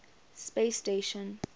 space station